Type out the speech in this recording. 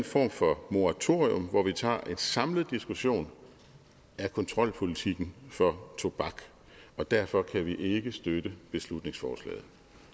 form for moratorium hvor vi tager en samlet diskussion af kontrolpolitikken for tobak og derfor kan vi ikke støtte beslutningsforslaget